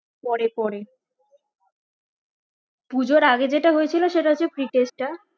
পরে পরে পুজোর আগে যেটা হয়েছিল সেটা হচ্ছে pre test টা